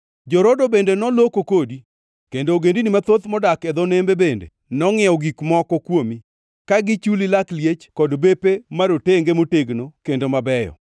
“ ‘Jo-Rodo bende noloko kodi, kendo ogendini mathoth modak e dho nembe bende nongʼiewo gik moko kuomi, ka gichuli lak liech kod bepe marotenge motegno kendo mabeyo.